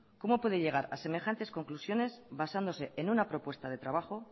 cómo puede llegar a semejantes conclusiones basándose en una propuesta de trabajo